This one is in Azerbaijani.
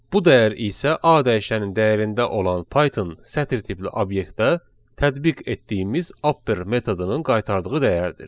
Bu dəyər isə A dəyişənin dəyərində olan Python sətir tipli obyektdə tətbiq etdiyimiz upper metodunun qaytardığı dəyərdir.